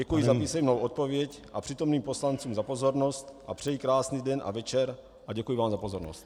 Děkuji za písemnou odpověď a přítomným poslancům za pozornost a přeji krásný den a večer a děkuji vám za pozornost.